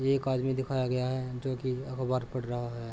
एक आदमी दिखाया गया है जो कि अखबार पढ़ रहा है।